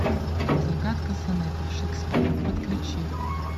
загадка сонетов шекспира подключи